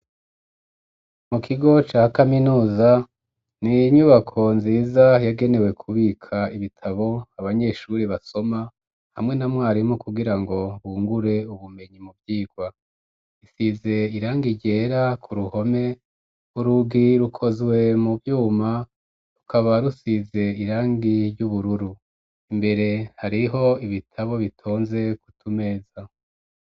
Mu kigo ca kaminuza, n'inyubako nziza yagenewe kubika ibitabo abanyeshuri basoma hamwe na mwarimu kugira ngo bungure ubumenyi mu vyigwa, isize irangi ryera k'uruhome, urugi rukozwe mu vyuma, rukaba rusize irangi ry'ubururu, imbere hariho ibitabo bitonze k'utumeza.